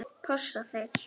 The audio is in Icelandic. Passa þeir?